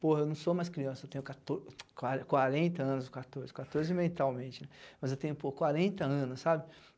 Porra, eu não sou mais criança, eu tenho quato quarenta anos, quatorze, quatorze mentalmente, né, mas eu tenho, porra, quarenta anos, sabe?